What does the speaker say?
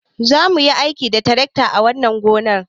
Za mu yi aiki da tarakta a wannan gonar.